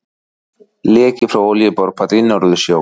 Leki frá olíuborpalli í Norðursjó.